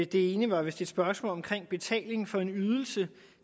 det ene var vist et spørgsmål om betaling for en ydelse